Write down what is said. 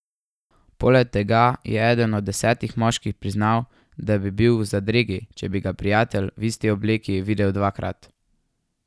Poleg tega je eden od desetih moških priznal, da bi bil v zadregi, če bi ga prijatelj v isti obleki videl dvakrat.